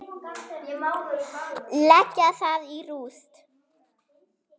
Leggja það í rúst!